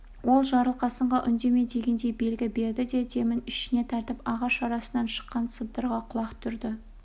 ол жарылқасынға үндеме дегендей белгі берді де демін ішіне тартып ағаш арасынан шыққан сыбдырға құлақ түрді